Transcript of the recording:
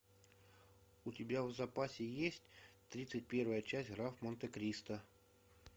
у тебя в запасе есть тридцать первая часть граф монте кристо